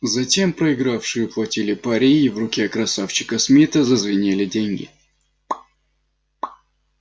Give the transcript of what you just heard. затем проигравшие уплатили пари и в руке красавчика смита зазвенели деньги